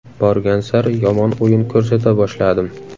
Borgan sari yomon o‘yin ko‘rsata boshladim.